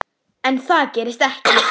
En það gerist ekki.